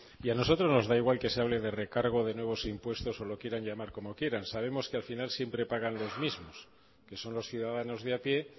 y a nosotros nos da igual que se hable de recargo de nuevos impuestos o lo quieran llamar como lo quieran sabemos que al final siempre pagan los mismos que son los ciudadanos de a píe